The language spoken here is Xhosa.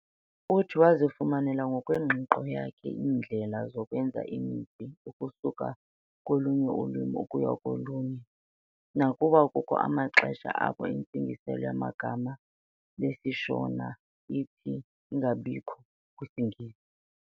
Uthi wazifumanela ngokwengqiqo yakhe iindlela zokwenza imitsi ukusuka kolunye ulwimi ukuya kolunye, nakuba kukho amaxesha apho intsingiselo yegama lesiShona ithi ingabikho kwisiNgesi.